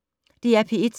DR P1